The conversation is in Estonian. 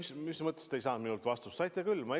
Ei noh, mis mõttes te ei saanud minult vastust?